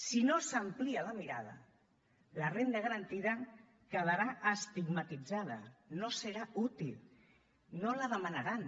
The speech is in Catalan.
si no s’amplia la mirada la renda garantida quedarà estigmatitzada no serà útil no la demanaran